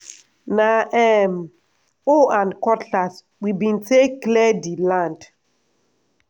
na um hoe and cutlass we bin take clear di land.